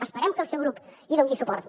esperem que el seu grup hi doni suport